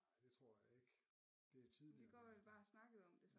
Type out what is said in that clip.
Nej det tror jeg ikke det er tidligere